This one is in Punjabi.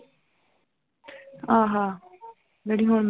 ਆਹ ਜਿਹੜੀ ਹੁਣ